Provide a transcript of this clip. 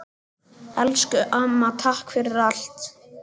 Elsku amma, takk fyrir allt.